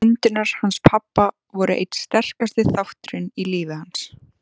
Kindurnar hans pabba voru einn sterkasti þátturinn í lífi hans.